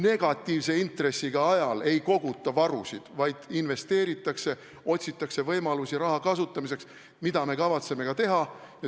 Negatiivse intressiga ajal ei koguta varusid, vaid investeeritakse, otsitakse võimalusi raha kasutamiseks, mida me kavatsemegi teha.